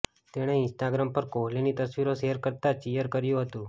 તેણે ઈન્સ્ટાગ્રામ પર કોહલીની તસવીરો શેર કરતા ચીયર કર્યું હતું